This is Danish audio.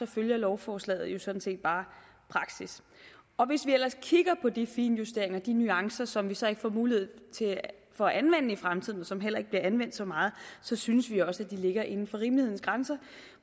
følger lovforslaget sådan set bare praksis hvis vi ellers kigger på de finjusteringer de nuancer som vi så ikke får mulighed for at anvende i fremtiden og som heller ikke bliver anvendt så meget synes vi også at de ligger inden for rimelighedens grænser